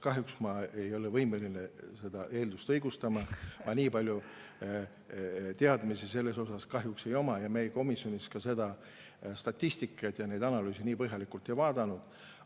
Kahjuks ei ole ma võimeline seda eeldust õigustama, ma nii palju teadmisi selles asjas kahjuks ei oma ja meie komisjonis ka seda statistikat ja neid analüüse nii põhjalikult ei vaadanud.